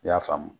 I y'a faamu